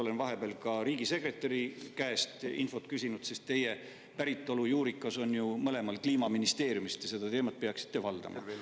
Olen vahepeal ka riigisekretäri käest infot küsinud, sest teie päritolujuurikas on ju mõlemal Kliimaministeeriumist ja seda teemat peaksite valdama.